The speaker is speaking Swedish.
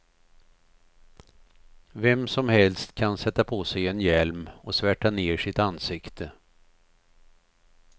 Vem som helst kan sätta på sig en hjälm och svärta ned sitt ansikte.